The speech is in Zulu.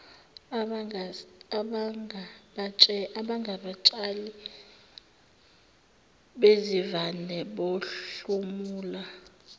abangabatshali bezivande bahlomula